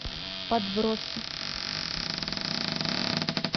подбросы